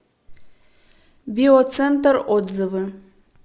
биоцентр отзывы